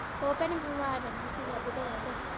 ਉਹ ਭੈਣੇ ਬਿਮਾਰ ਰਹਿੰਦੀ ਸੀ ਵੱਧ ਤੋਂ ਵੱਧ।